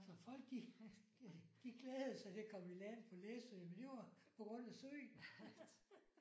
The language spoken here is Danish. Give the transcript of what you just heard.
Så folk de de glædede sig til at komme i land på Læsø men det var på grund af søen